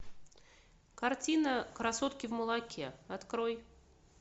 картина красотки в молоке открой